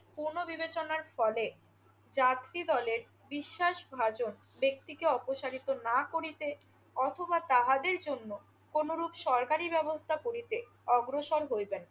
পুনঃ বিবেচনার ফলে চারটি দলের বিশ্বাসভাজন ব্যক্তিকে অপসারিত না করিতে অথবা তাহাদের জন্য কোনো রূপ সরকারি ব্যবস্থা করিতে অগ্রসর হইবেন।